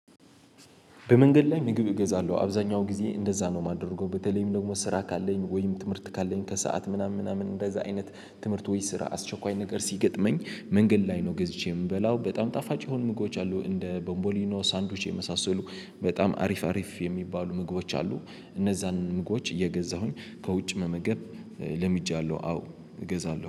በመንገድ ላይ ምግብ እገዛለሁ አብዛኛው ጊዜ እንደዛ ነው የማደርገው በተለይም ደግሞ ስራ ካለኝ ወይም ትምህርት ካለኝ ከሰአት ምናምን ምናምን እንደዛ አይነት ትምህርት ወይ ስራ አስቸኳይ ነገር ሲገጥመኝ መንገድ ላይ ነው። ገዝቼ የምበላው በጣም ጣፋጭ የሆኑ ምግቦች አሉ እንደ ቦንቦሊኖ ሳንድዊች የመሳሰሉ በጣም አሪፍ አሪፍ የሚባሉ ምግቦች አሉ። እነዛን ምግቦች እየገዛሁኝ ከውጭ መመገብ ለምጃለሁ። አዎ እገዛለሁ